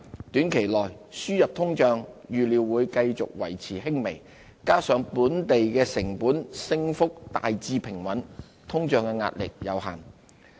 短期內，輸入通脹預料會繼續維持輕微，加上本地成本升幅大致平穩，通脹壓力有限。